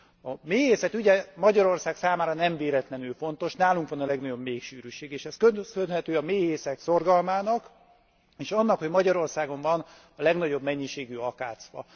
A méhészet ugye Magyarország számára nem véletlenül fontos, nálunk van a legnagyobb méhsűrűség, és ez köszönhető a méhészek szorgalmának, és annak, hogy Magyarországon van a legnagyobb mennyiségű akácfa.